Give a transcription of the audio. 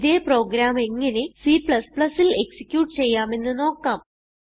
ഇതേ പ്രോഗ്രാം എങ്ങനെ Cൽ എക്സിക്യൂട്ട് ചെയ്യാമെന്ന് നോക്കാം